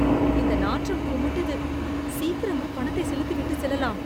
இந்த நாற்றும் குமட்டுது. சீக்கிரமா பணத்தை செலுத்திவிட்டு செல்லலாம்.